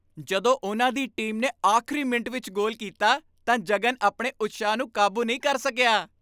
ਜਦੋਂ ਉਨ੍ਹਾਂ ਦੀ ਟੀਮ ਨੇ ਆਖਰੀ ਮਿੰਟ ਵਿੱਚ ਗੋਲ ਕੀਤਾ ਤਾਂ ਜਗਨ ਆਪਣੇ ਉਤਸ਼ਾਹ ਨੂੰ ਕਾਬੂ ਨਹੀਂ ਕਰ ਸਕਿਆ।